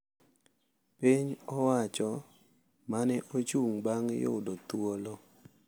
Piny owacho ma ne ochung’ bang’ yudo thuolo